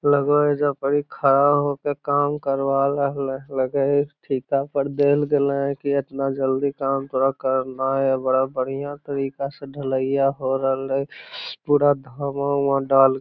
लगो हई जोकर ही खड़ा हो कर काम करवा रहल हई लगह हो की ठिका पर देल गइले की इतना जल्दी काम तोरा करना ही हई बड़ा बढियाँ तरीका से ढलैइया हो रहल हाई पूरा धामा हुमा डाल --